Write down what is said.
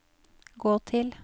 gå til